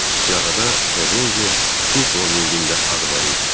Siyahıda Terrencə Kinslovikin də adı var idi.